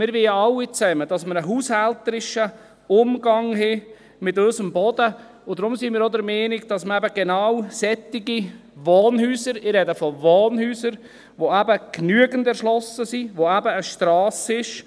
Wir wollen ja alle, dass wir einen haushälterischen Umgang mit unserem Boden haben, und deshalb sind wir auch der Meinung, dass wir eben genau solche Wohnhäuser – ich spreche von Wohnhäusern – nutzen können, die eben genügend erschlossen sind, wo eben eine Strasse ist.